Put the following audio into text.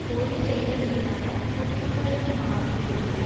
கோரிக்கைகள் மீதான குவிமையமாகிவிடுமோ